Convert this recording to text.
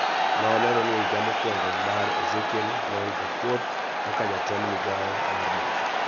Nolero ni e higa mokwongo mar Ezekiel Lol Gatkouth kaka jatend migawo mar mo,